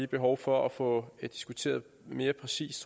behov for at få diskuteret mere præcist